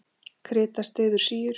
Krita styður síur.